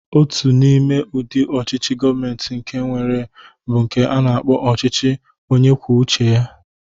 Otu n'ime udị ọchịchị Govmenti nke enwere bụ nke a na-akpọ ọchịchị onyekwucheya.